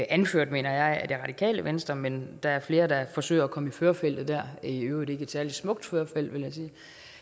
anført mener jeg af det radikale venstre men der er flere der forsøger at komme i førerfeltet der i øvrigt ikke et særlig smukt førerfelt vil jeg sige